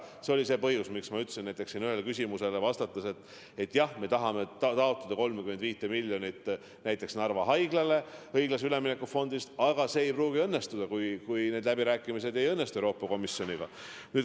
See oli see põhjus, miks ma ütlesin siin ühele küsimusele vastates, et jah, me tahame taotleda 35 miljonit näiteks Narva Haiglale õiglase ülemineku fondist, aga see ei pruugi õnnestuda, kui ei õnnestu läbirääkimised Euroopa Komisjoniga.